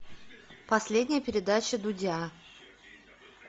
последняя передача дудя